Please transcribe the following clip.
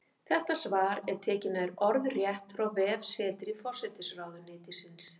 Þetta svar er tekið nær orðrétt frá vefsetri forsætisráðuneytisins.